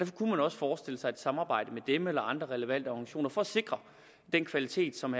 kunne man også forestille sig et samarbejde med dem eller andre relevante organisationer for at sikre den kvalitet som